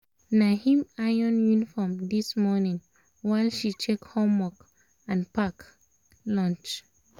na him iron uniform this morning while she check homework and pack lunch